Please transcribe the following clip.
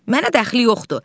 Mənə dəxli yoxdur.